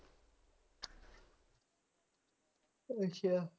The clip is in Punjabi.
ਅੱਛਾ